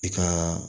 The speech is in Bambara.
I ka